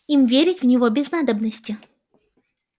им верить в него без надобности